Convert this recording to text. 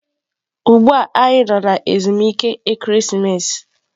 Ugbua anyi no na ezumike ekeresimesi.